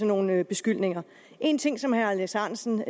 nogen beskyldninger en ting som herre alex ahrendtsen